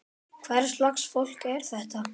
Hvers lags fólk er þetta?